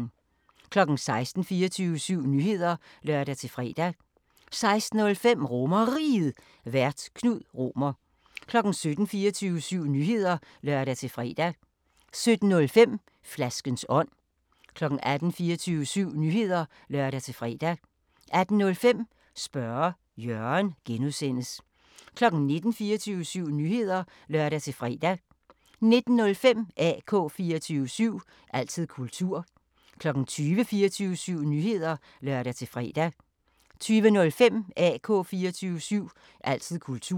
16:00: 24syv Nyheder (lør-fre) 16:05: RomerRiget, Vært: Knud Romer 17:00: 24syv Nyheder (lør-fre) 17:05: Flaskens ånd 18:00: 24syv Nyheder (lør-fre) 18:05: Spørge Jørgen (G) 19:00: 24syv Nyheder (lør-fre) 19:05: AK 24syv – altid kultur 20:00: 24syv Nyheder (lør-fre) 20:05: AK 24syv – altid kultur